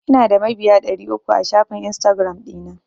Ina da mabiya ɗari uku a shafin Instagiram ɗina.